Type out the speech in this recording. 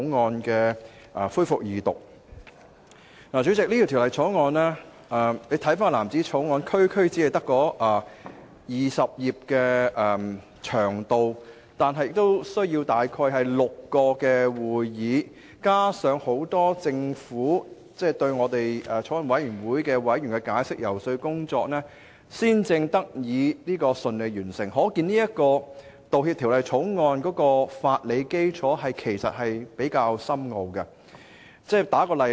主席，回看有關的藍紙條例草案，其篇幅只有區區20頁，但卻需要前後召開了6次會議進行審議，加上政府官員向法案委員會委員作出了大量解釋和遊說，審議工作才得以順利完成，可見《條例草案》的法理基礎其實比較深奧。